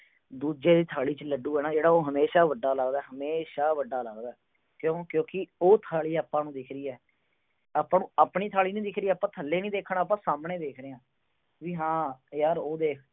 ਦੂਜੇ ਦੀ ਥਾਲੀ ਚ ਲੱਡੂ ਆ ਨਾ ਉਹ ਹਮੇਸ਼ਾ ਵੱਡਾ ਲੱਗਦਾ, ਹਮੇਸ਼ਾ ਵੱਡਾ ਲੱਗਦਾ। ਕਿਉਂ, ਕਿਉਂਕਿ ਉਹ ਥਾਲੀ ਆਪਾ ਨੂੰ ਦਿਖ ਰਹੀ ਆ। ਆਪਾ ਨੂੰ ਆਪਣੀ ਥਾਲੀ ਨੀ ਦਿਖਦੀ, ਆਪਾ ਥੱਲੇ ਨੀ ਦੇਖਣਾ, ਆਪਾ ਸਾਹਮਣੇ ਦੇਖ ਰਹੇ ਆ। ਵੀ ਹਾਂ ਯਾਰ ਉਹ ਦੇਖ।